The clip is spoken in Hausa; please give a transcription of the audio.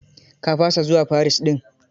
Ka fasa zuwa Paris din?